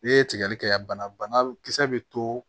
N'i ye tigɛli kɛ yan banakisɛ bɛ to